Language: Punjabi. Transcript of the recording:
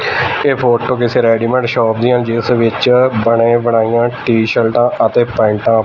ਇਹ ਫੋਟੋ ਕਿਸੇ ਰੈਡੀਮੇਟ ਸ਼ੋਪ ਦੀ ਆ ਜਿਸ ਵਿੱਚ ਬਣੇ ਬਣਾਈਆਂ ਟੀਸ਼ਰਟਾਂ ਅਤੇ ਪੈਂਟਾ --